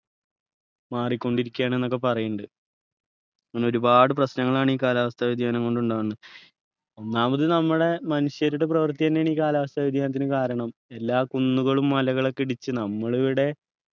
മാറിക്കൊണ്ടിരിക്കയാണ് ന്നൊക്കെ പറയുന്നിണ്ട് അങ്ങനെ ഒരുപാട് പ്രശ്‌നങ്ങളാണ് ഈ കാലാവസ്ഥ വ്യതിയാനം കൊണ്ട് ഉണ്ടാവുന്നത് ഒന്നാമത് നമ്മളെ മനുഷ്യരുടെ പ്രവൃത്തി തന്നെയാണ് ഈ കാലാവസ്ഥ വ്യതിയാനത്തിന് കാരണം എല്ലാ കുന്നുകളും മലകളൊക്കെ ഇടിച്ച് നമ്മള് ഇവിടെ